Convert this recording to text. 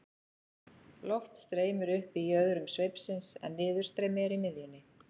loft streymir upp í jöðrum sveipsins en niðurstreymi er í miðjunni